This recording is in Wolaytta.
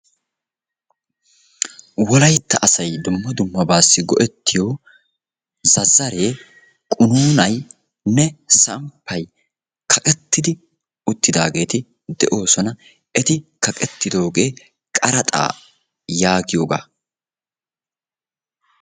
Wolaytta asay dumma dummabaassi go'ettiyo zazzaree, quunaynne, samppay kaqqettidi uttidaageeti de'oosona. eti kaqettidoogee qaraxaa yaagiyoogaa.